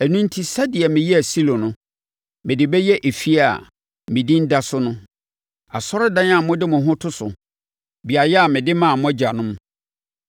Ɛno enti, sɛdeɛ meyɛɛ Silo no, mede bɛyɛ efie a me Din da so no, asɔredan a mode mo ho to so, beaeɛ a mede maa mo ne mo agyanom.